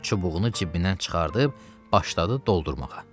Öz çubuğunu cibindən çıxardıb, başladı doldurmağa.